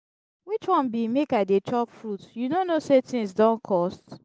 which one be make i dey chop fruit you no know say things don cost.